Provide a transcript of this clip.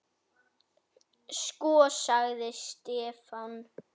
Sko. sagði Stefán.